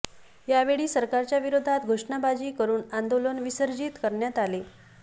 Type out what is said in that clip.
यावेळी सरकारच्या विरोधात घोषणाबाजी करून आंदोलन विसर्जीत करण्यात आले